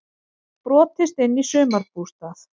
Brotist inn í sumarbústað